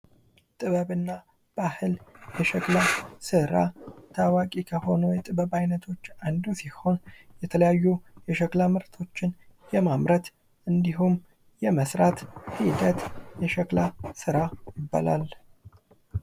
ጥበብና ባህል የሸክላ ስራ ታዋቂ ከሆኑ የጥበብ ዓይነቶች አንዱ ሲሆን የተለያዩ የሸክላ ምርቶችን የማምረት እንዲሁም የመስራት ሂደት የሸክላ ስራ ይባላል።